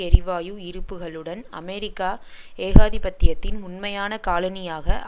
எரிவாயு இருப்புக்களுடன் அமெரிக்கா ஏகாதிபத்தியத்தின் உண்மையான காலனியாக